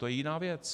To je jiná věc.